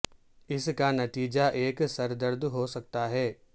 اس کا نتیجہ ایک سر درد ہو سکتا ہے